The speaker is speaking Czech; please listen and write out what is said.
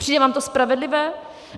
Přijde vám to spravedlivé?